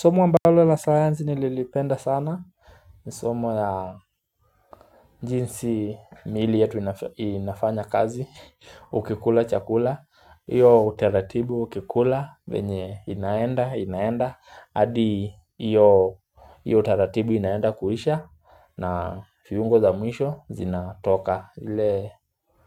Somo ambalo la sayansi nililipenda sana ni somo la jinsi mili yetu inafanya kazi Ukikula chakula Iyo utaratibu ukikula venye inaenda, inaenda adi iyo utaratibu inaenda kuisha na viungo za mwisho zinatoka ile